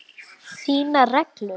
Þínar reglur?